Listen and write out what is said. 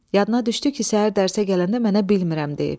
Yadına düşdü ki, səhər dərsə gələndə mənə bilmirəm deyib.